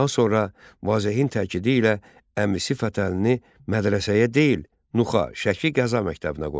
Daha sonra Vazehin təkidi ilə əmisi Fətəlini mədrəsəyə deyil, Nuxa, Şəki qəza məktəbinə qoyur.